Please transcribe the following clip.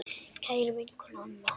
Kæra vinkona Anna.